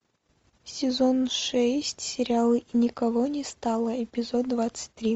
сезон шесть сериала никого не стало эпизод двадцать три